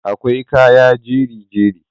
akwai kaya jeri-jeri